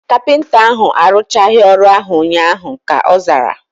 Kapịnta ahu aruchaghi ọrụ ahu ụnyaahụ, ka ọ zara